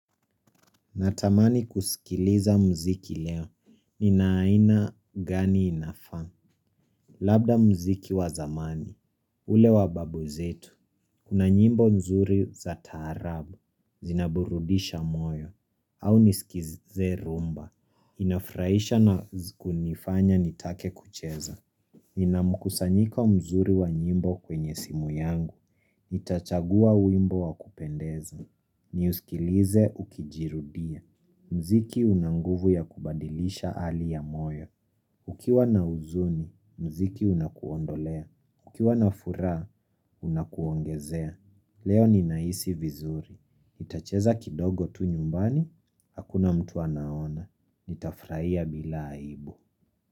Natamani kusikiliza mziki leo. Nina aina gani inafaa. Labda mziki wa zamani. Ule wa babu zetu. Kuna nyimbo nzuri za taarabu. Zinaburudisha moyo. Au niskize rumba. Inafrahisha na kunifanya nitake kucheza. Nina mkusanyiko mzuri wa nyimbo kwenye simu yangu, nitachagua wimbo wa kupendeza, ni uskilize ukijirudia, mziki una nguvu ya kubadilisha hali ya moyo, ukiwa na huzuni, mziki unakuondolea, ukiwa na furaha unakuongezea, leo ni naisi vizuri, nitacheza kidogo tu nyumbani, hakuna mtu anaona, nitafraia bila aibu.